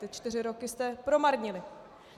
Ty čtyři roky jste promarnili.